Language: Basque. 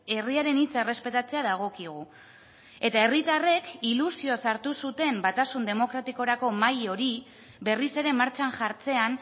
herriaren hitza errespetatzea dagokigu eta herritarrek ilusioz hartu zuten batasun demokratikorako mahai hori berriz ere martxan jartzean